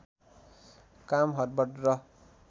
काम हडवड र